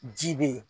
Ji be yen